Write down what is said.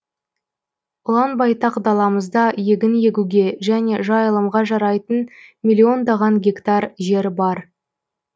ұлан байтақ даламызда егін егуге және жайылымға жарайтын миллиондаған гектар жер бар